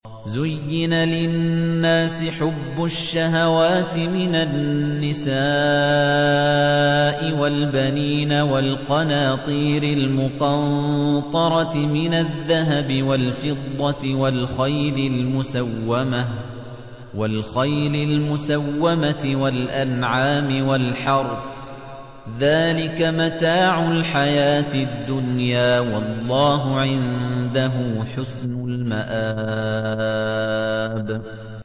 زُيِّنَ لِلنَّاسِ حُبُّ الشَّهَوَاتِ مِنَ النِّسَاءِ وَالْبَنِينَ وَالْقَنَاطِيرِ الْمُقَنطَرَةِ مِنَ الذَّهَبِ وَالْفِضَّةِ وَالْخَيْلِ الْمُسَوَّمَةِ وَالْأَنْعَامِ وَالْحَرْثِ ۗ ذَٰلِكَ مَتَاعُ الْحَيَاةِ الدُّنْيَا ۖ وَاللَّهُ عِندَهُ حُسْنُ الْمَآبِ